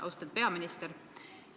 Austatud peaminister!